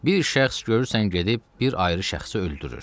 Bir şəxs görürsən gedib bir ayrı şəxsi öldürür.